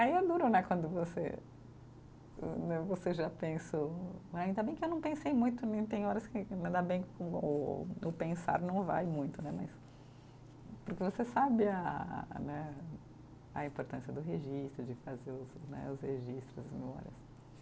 Aí é duro né, quando você né, você já pensou, ainda bem que eu não pensei muito né tem horas que, ainda bem que o o pensar não vai muito né, mas, porque você sabe a né, a importância do registro, de fazer os né, os registros, as memórias.